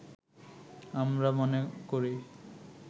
আমরা মনে করি